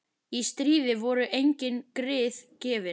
Í stríði voru engin grið gefin.